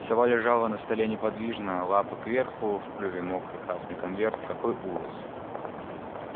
сова лежала на столе неподвижно лапы кверху в клюве мокрый красный конверт какой ужас